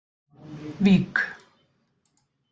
Vík